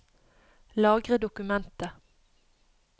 Lagre dokumentet